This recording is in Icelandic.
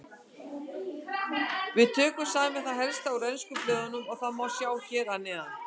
Við tókum saman það helsta úr ensku blöðunum og það má sjá hér að neðan.